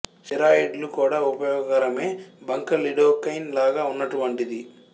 steroid లు కూడా ఉపయోగకరమే బంక లిడోకైన్ లాగా ఉన్నటువంటిది